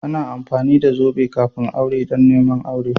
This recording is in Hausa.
Ana amfani da zobe kafin aure don neman auren.